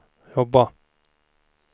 jobba